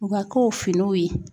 U ka kow finiw ye